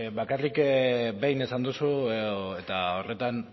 bakarrik behin esan duzu eta horretan